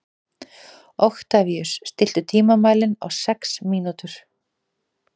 Oktavíus, stilltu tímamælinn á sex mínútur.